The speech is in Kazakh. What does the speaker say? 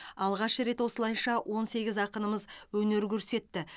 алғаш рет осылайша он сегіз ақынымыз өнер көрсетті